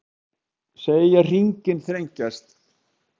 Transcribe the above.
Segja hringinn þrengjast